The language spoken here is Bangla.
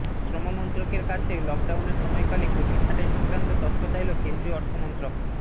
শ্রমমন্ত্রকের কাছে লকডাউনের সময়কালে কর্মী ছাঁটাই সংক্রান্ত তথ্য চাইল কেন্দ্রীয় অর্থমন্ত্রক